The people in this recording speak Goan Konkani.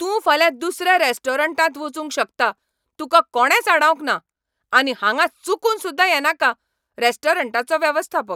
तूं फाल्यां दुसऱ्या रॅस्टोरंटांत वचूंक शकता, तुका कोणेंच आडावंक ना. आनी हांगा चुकून सुद्दा येनाका रॅस्टोरंटाचो वेवस्थापक